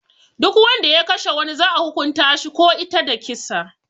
Duk Wanda ya Kashe wani za'a hukunta shi ko ita da kisa.